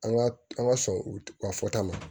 An ka an ka sɔn ka fɔ ta ma